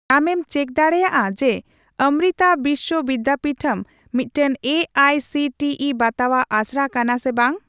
ᱟᱢᱮᱢ ᱪᱮᱠ ᱰᱟᱲᱮᱭᱟᱜᱼᱟ ᱡᱮ ᱚᱢᱨᱤᱛᱟ ᱵᱤᱥᱥᱚ ᱵᱤᱫᱫᱟᱯᱤᱴᱷᱚᱢ ᱢᱤᱫᱴᱟᱝ A I C T E ᱵᱟᱛᱟᱣᱟᱜ ᱟᱥᱲᱟ ᱠᱟᱱᱟ ᱥᱮ ᱵᱟᱝ ?